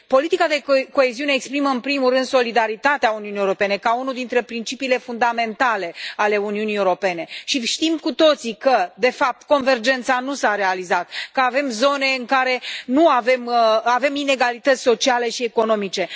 Politica de coeziune exprimă în primul rând solidaritatea Uniunii Europene ca unul dintre principiile fundamentale ale Uniunii Europene și știm cu toții că, de fapt, convergența nu s a realizat, că avem zone în care avem inegalități sociale și economice.